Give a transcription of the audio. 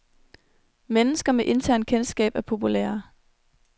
Mennesker med internt kendskab er populære.